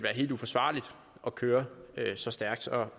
helt uforsvarligt at køre så stærkt og